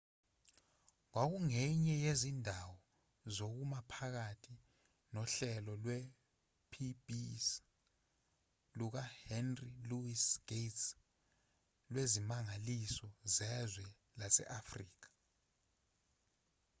kwakungenye yezindawo zokuma phakathi nohlelo lwepbs lukahenry louis gates lwezimangaliso zezwe lase-afrika